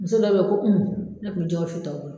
Muso dɔ bɛ ye ko Umu ne ko